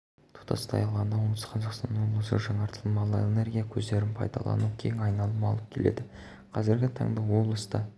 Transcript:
тұтастай алғанда оңтүстік қазақстан облысында жаңартылмалы энергия көздерін пайдалану кең айналым алып келеді қазіргі таңда облыста